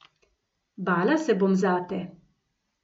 Bala se bom zate.